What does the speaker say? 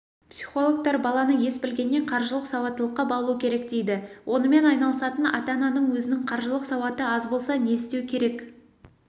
психологтар баланы ес білгеннен қаржылық сауаттылыққа баулу керек дейді онымен айналысатын ата-ананың өзінің қаржылық сауаты аз болса не істеу керек